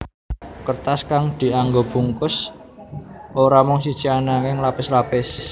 Kertas kang dianggo bungkus ora mung siji ananging lapis lapis